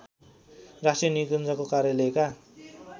राष्ट्रिय निकुञ्जको कार्यलयका